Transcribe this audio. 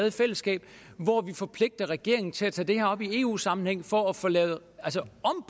i fællesskab hvor vi forpligter regeringen til at tage det her op i eu sammenhæng for at få lavet